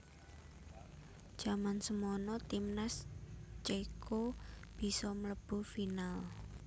Jaman semono timnas cèko bisa mlebu final